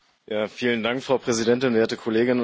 Frau Präsidentin, werte Kolleginnen und Kollegen!